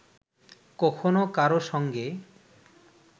কখনো কারো সঙ্গে